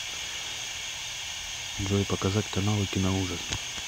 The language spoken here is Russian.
джой показать каналы киноужас